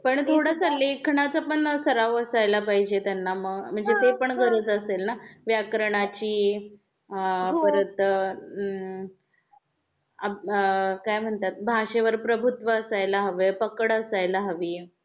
पण थोडसं लेखनाचा पण सराव असायला पाहिजे त्यांना. म्हणजे ते पण गरज असेल ना? व्याकरणाची अं परत अं काय म्हणतात भाषेवर प्रभुत्व असायला हवे पकड असायला हवी.